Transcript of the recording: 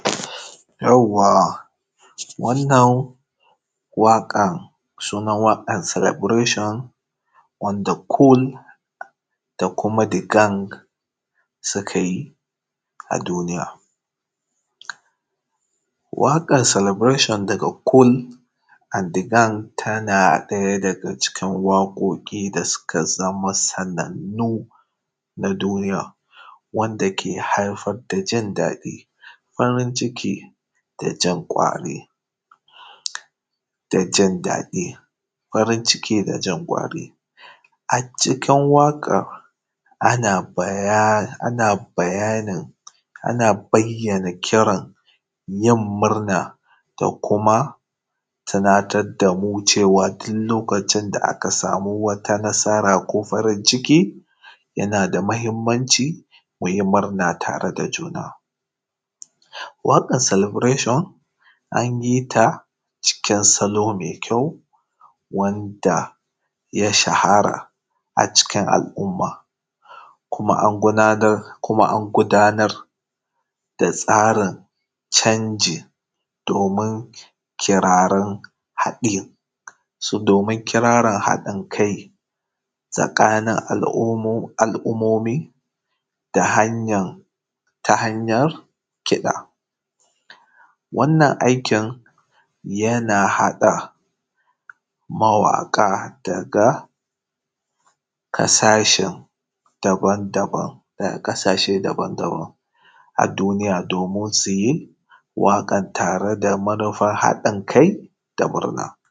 Yauwa wanan waƙan sunan waƙan celebration on de kull da kuma digang suka yi a duniya waƙar salabirashon daga kull dagan tana da waƙoƙi da suka sama matsala na duniya wanda ke haifar da jin daɗi farinciki da jan kwari. A cikin waƙan ana bayani ana bayyana yin murna da kuma tinatar da mu cewa duk lokacin da aka sama matsala a ciki yana da kyau ku yi murna tare da juna, waƙar salabirashion an yi ta cikin salo me kyau wanda ya shahara a cikn al’umma, kuma an gudamar da tsarin canji domin ƙararin haɗin domin ƙirarin haɗin kai tsakanin al’umumi ta hanyar kiɗa. Wannan aikin yana haɗa mawaƙa daga ƙasashe daban-daban a duniya domin su yi waƙan tare da manufan haɗin kai da murna.